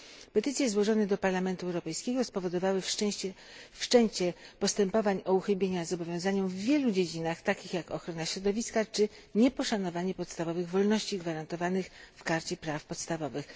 Petycje złożone do Parlamentu Europejskiego spowodowały wszczęcie postępowań o uchybienie zobowiązaniom w wielu dziedzinach, takich jak ochrona środowiska, czy nieposzanowanie podstawowych wolności gwarantowanych w Karcie praw podstawowych.